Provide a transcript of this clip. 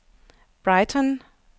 Brighton